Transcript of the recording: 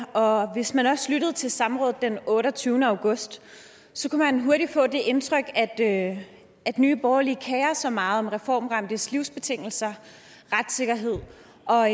og hvis man også lyttede til samrådet den otteogtyvende august så kunne man hurtigt få det indtryk at nye borgerlige kerer sig meget om reformramtes livsbetingelser retssikkerhed og